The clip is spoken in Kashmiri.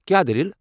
کیٚا دٔلیٖل ؟